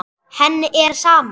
Henni er sama.